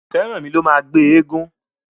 Feranmi ló má gbé éégun.